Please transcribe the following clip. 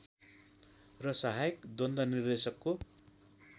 र सहायक द्वन्द निर्देशकको